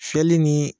Fiyɛli ni